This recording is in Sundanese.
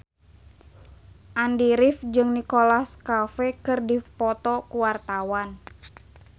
Andy rif jeung Nicholas Cafe keur dipoto ku wartawan